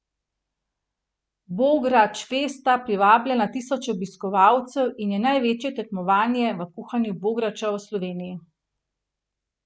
Bogračfest privablja na tisoče obiskovalcev in je največje tekmovanje v kuhanju bograča v Sloveniji.